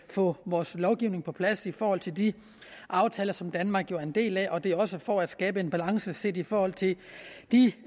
få vores lovgivning på plads i forhold til de aftaler som danmark jo er en del af vi gør det også for at skabe en balance set i forhold til de